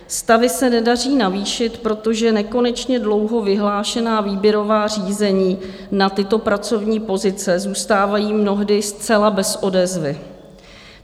Stavy se nedaří navýšit, protože nekonečně dlouho vyhlášená výběrová řízení na tyto pracovní pozice zůstávají mnohdy zcela bez odezvy.